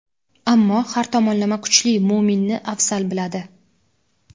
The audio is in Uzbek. ammo har tomonlama kuchli mo‘minni afzal biladi.